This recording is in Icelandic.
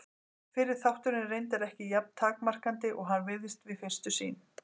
Fyrri þátturinn er reyndar ekki jafn takmarkandi og hann virðist við fyrstu sýn.